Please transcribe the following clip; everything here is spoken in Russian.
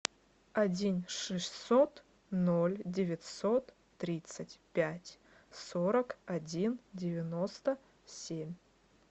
один шестьсот ноль девятьсот тридцать пять сорок один девяносто семь